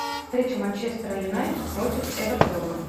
встреча манчестера юнайтед против эвертона